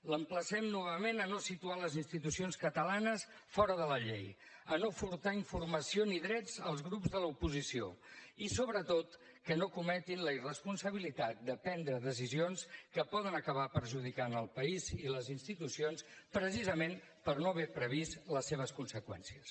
l’emplacem novament a no situar les institucions catalanes fora de la llei a no furtar informació ni drets als grups de l’oposició i sobretot a no cometre la irresponsabilitat de prendre decisions que poden acabar perjudicant el país i les institucions precisament per no haver previst les seves conseqüències